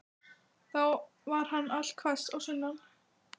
Þá var hann allhvass á sunnan.